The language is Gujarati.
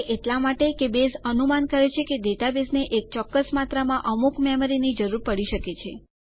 એ એટલા માટે કે બેઝ અનુમાન કરે છે કે ડેટાબેઝને એક ચોક્કસ માત્ર માં અમુક મેમરી ની જરૂર પડી શકે છે